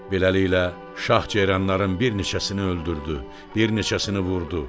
Beləliklə şah ceyranların bir neçəsini öldürdü, bir neçəsini vurdu.